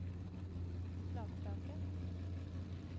Flatraket